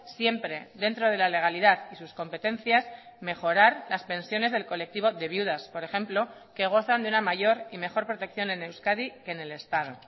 siempre dentro de la legalidad y sus competencias mejorar las pensiones del colectivo de viudas por ejemplo que gozan de una mayor y mejor protección en euskadi que en el estado